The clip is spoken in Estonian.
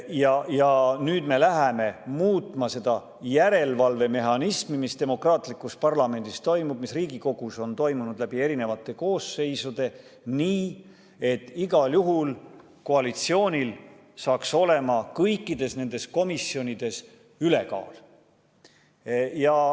Aga nüüd me läheme muutma seda järelevalve mehhanismi, mis demokraatlikus parlamendis toimib, mis Riigikogus on toiminud läbi eri koosseisude, nii et igal juhul koalitsioonil hakkaks olema kõikides nendes komisjonides ülekaal.